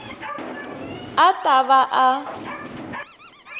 a a ta va a